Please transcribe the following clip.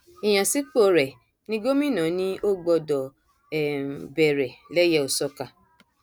ìyànsípò rẹ ní gómìnà ni o gbọdọ um bẹrẹ lẹyẹòsọkà